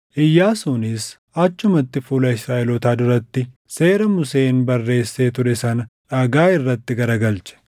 Iyyaasuunis achumatti fuula Israaʼelootaa duratti, seera Museen barreessee ture sana dhagaa irratti garagalche.